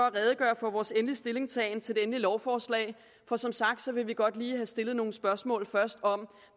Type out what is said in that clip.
at redegøre for vores endelige stillingtagen til lovforslaget for som sagt vil vi godt lige først stille nogle spørgsmål om